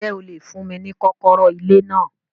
Ǹjẹ́ o lè fún mí ni kọ́kọ́rọ́ ilé náà